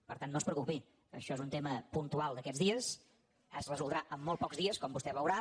per tant no es preocupi això és un tema puntual d’aquests dies es resoldrà amb molt pocs dies com vostè veurà